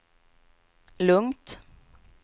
lugnt